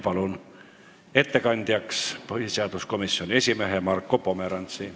Palun ettekandjaks põhiseaduskomisjoni esimehe Marko Pomerantsi.